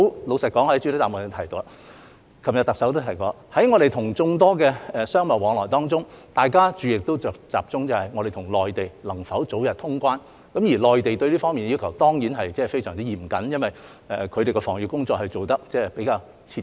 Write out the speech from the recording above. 老實說，我在主體答覆中提及，特首昨天也提到，在眾多商貿往來當中，大家的注意力均集中於香港跟內地能否早日通關，而內地對這方面的要求當然非常嚴謹，因為他們的防疫工作做得比較徹底。